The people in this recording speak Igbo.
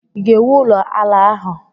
Ị ga-ewu ụlọ ala ahụ?